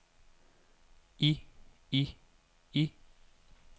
i i i